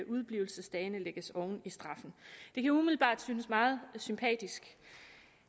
udeblivelsesdagene lægges oven i straffen det kan umiddelbart synes meget sympatisk